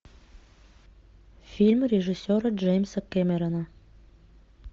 фильм режиссера джеймса кэмерона